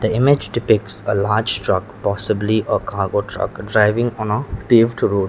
image depicts a large truck possibly a cargo truck driving on a paved road.